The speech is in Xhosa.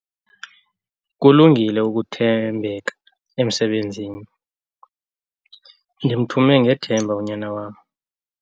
Kulungile ukuthembeka emsebenzini. ndimthume ngethemba unyana wam